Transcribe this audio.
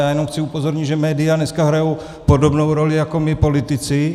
Já jenom chci upozornit, že média dneska hrají podobnou roli jako my politici.